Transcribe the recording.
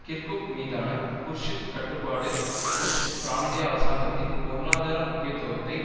Kirkuk மீதான Kurdish கட்டுப்பாடு Kurdish பிராந்திய அரசாங்கத்தின் பொருளாதார முக்கியத்துவத்தை